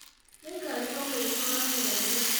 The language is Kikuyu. Nĩngarĩhwo mũico wa mweri.